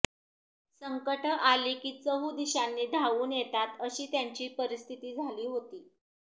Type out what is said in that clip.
संकटं आली की चहुदिशांनी धाऊन येतात अशी त्यांची परिस्थिती झाली होती